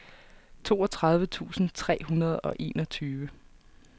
toogtredive tusind tre hundrede og enogtyve